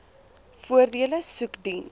voordele soek diens